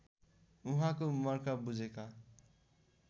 उहाँको मर्का बुझेका